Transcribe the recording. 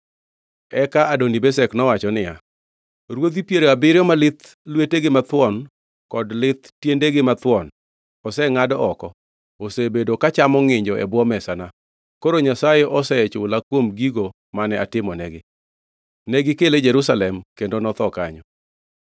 Eka Adoni-Bezek nowacho niya, “Ruodhi piero abiriyo ma lith lwetegi mathuon kod lith tiendegi mathuon osengʼad oko osebedo ka chamo ngʼinjo e bwo mesana. Koro Nyasaye osechula kuom gigo mane atimonegi.” Negikele Jerusalem, kendo notho kanyo.